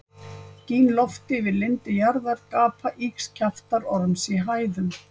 Gín loft yfir lindi jarðar, gapa ýgs kjaftar orms í hæðum.